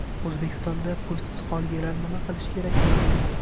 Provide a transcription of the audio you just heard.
O‘zbekistonda pulsiz qolganlar nima qilishi kerak bilmadim.